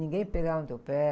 Ninguém pegava no teu pé.